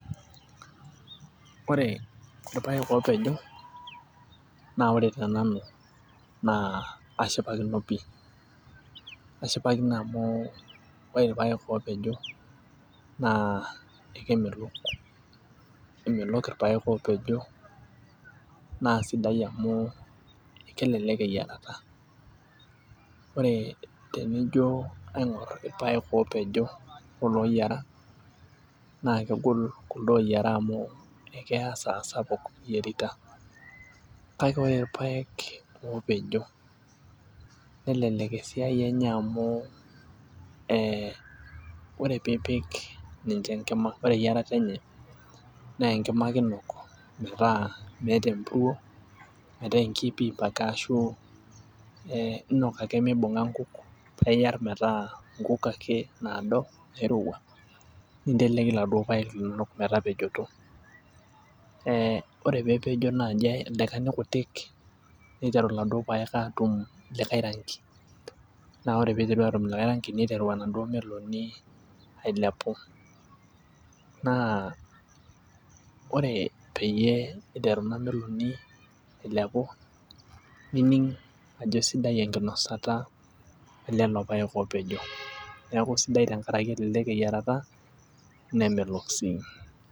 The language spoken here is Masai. Ore irpaek oopejo, naa ore tenanu naa ashipakino pii. ashipakino amu, ore irpaek oopejo naa, ekemelok, keemelok irpaek oopejo naasidai amu kelelk eyiarata. ore tenijo kaing'or irpaek oopejo olooyiara, naa kegolu kulo ooyiera amu ekeya esaa sapuk iyierita. kake ore irpaek oopejo melelek esiai enye amu ore pee ipik ninche enkima. ore eyiarata enye .enkima ake inok metaa meeta empuruo metaa enkiip iip ake ashu ee inok ake mibung'a nkuk. paa I iyat metaa nkuk ake naado nairowua. inteleki iladuok park linonok metapejoto.ee ore pee epejo naa ildaika I kutik niteru iladuok park aatum like ranki. naaa ore pee iteru atum like ranki niteru enaduoo meloni, ailepu. naa ore peyie iteru Ina meloni ailepu. nining' ajo sidai enkinosata elelo paek oopejo neeku sidai tenkaraki kelelek eyiarata nemelok sii.